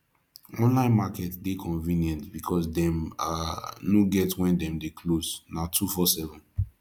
online market de convenient because dem um no get when dem de close na 247